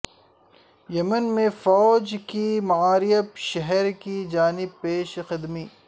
یمن میں فوج کی معریب شہر کی جانب پیش قدمی